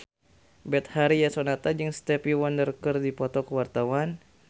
Betharia Sonata jeung Stevie Wonder keur dipoto ku wartawan